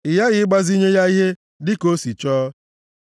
ị ghaghị ịgbazinye ya ihe dị ka o si chọọ.